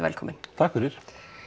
velkominn takk fyrir